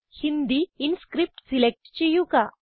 Hindi inscript select ചെയ്യുക